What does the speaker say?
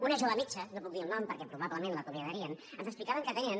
una jove metge no en puc dir el nom perquè probablement l’acomiadarien ens explicava que atenen